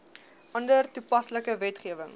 ander toepaslike wetgewing